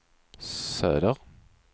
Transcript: söder